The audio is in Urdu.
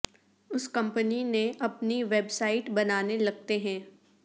اس کمپنی نے اپنی ویب سائٹ بنانے لگتے ہیں